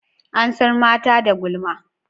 An san mata da gulma.